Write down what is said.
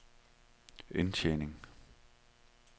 indtjening